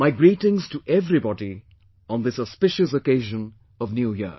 My greetings to everybody on this auspicious occasion of New Year